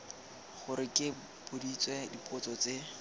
gore ke boditswe dipotso tse